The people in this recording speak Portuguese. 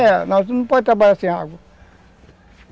Era, mas não pode trabalhar sem água.